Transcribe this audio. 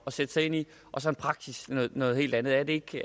og sætte sig ind i og så i praksis noget noget helt andet er det det